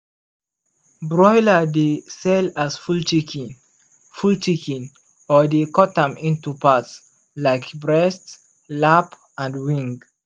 broiler dey sell as full chicken full chicken or dey cut am into part like breast lap and wing.